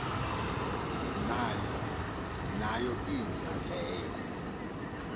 nayo inja leyo